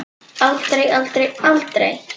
Aldrei, aldrei, aldrei!